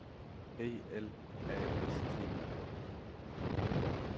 E L A S T I K